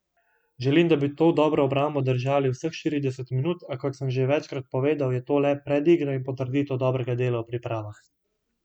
Želim, da bi to dobro obrambo držali vseh štirideset minut, a kot se že večkrat povedal, je to le predigra in potrditev dobrega dela v pripravah.